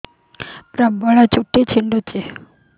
ପ୍ରବଳ ଚୁଟି ଝଡୁଛି